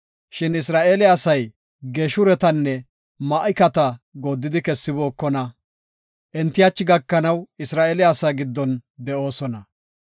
Shin Isra7eele asay Geeshuretanne Ma7ikata gooddidi kessibookona. Enti hachi gakanaw Isra7eele asaa giddon de7oosona.